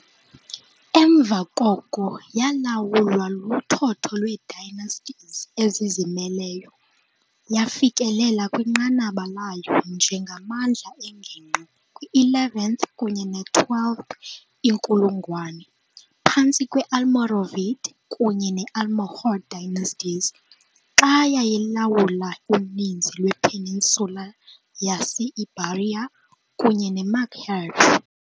Emva koko yalawulwa luthotho lweedynasties ezizimeleyo, yafikelela kwinqanaba layo njengamandla engingqi kwi-11th kunye ne-12th inkulungwane, phantsi kwe- Almoravid kunye ne-Almohad dynasties, xa yayilawula uninzi lwePeninsula yase-Iberia kunye neMaghreb.